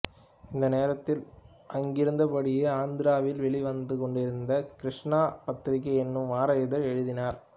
இந்த நேரத்தில் அங்கிருந்தபடியே ஆந்திராவில் வெளிவந்து கொண்டிருந்த கிருஷ்ணா பத்ரிகா எனும் வார இதழில் எழுதினார்